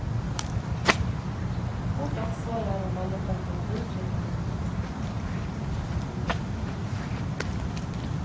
Vårt ansvar er å holde temperaturen riktig.